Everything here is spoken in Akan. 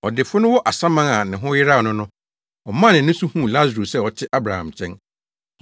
Ɔdefo no wɔ asaman a ne ho yeraw no no, ɔmaa nʼani so huu Lasaro sɛ ɔte Abraham nkyɛn.